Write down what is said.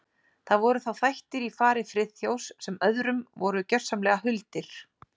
Það voru þá þættir í fari Friðþjófs sem öðrum voru gjörsamlega huldir.